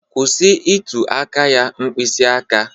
Kwụsị ịtụ aka ya mkpịsị aka